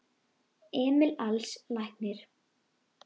Emil Als læknir.